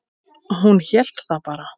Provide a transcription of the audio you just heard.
Hún hélt það bara.